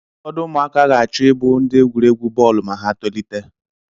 Ụfọdụ ụmụaka ga-achọ ịbụ ndị egwuregwu bọọlụ ma ha tolite.